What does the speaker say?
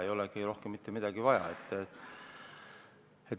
Ei olegi rohkem mitte midagi vaja.